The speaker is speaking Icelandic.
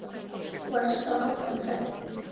Var staðan rædd?